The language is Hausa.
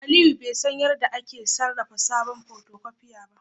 Aliyu bai san yadda ake sarrafa sabon photocopier ba